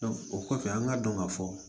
o kɔfɛ an ka dɔn ka fɔ